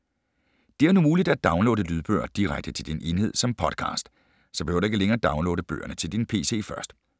Det er nu muligt at downloade lydbøger direkte til din enhed som Podcast. Så behøver du ikke længere downloade bøgerne til din pc først.